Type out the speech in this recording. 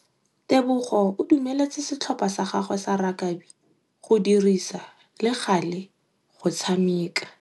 Tebogô o dumeletse setlhopha sa gagwe sa rakabi go dirisa le galê go tshameka.